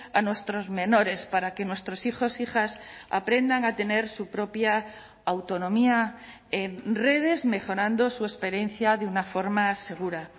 a nuestros menores para que nuestros hijos e hijas aprendan a tener su propia autonomía redes mejorando su experiencia de una forma segura